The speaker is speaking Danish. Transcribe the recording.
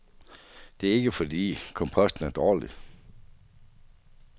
Det er ikke fordi komposten er dårlig.